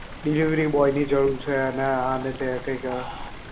delivery boy ની જરૂર હોય છે ને આને તે ને કંઈક